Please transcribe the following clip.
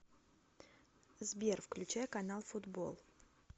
сбер включай канал футбол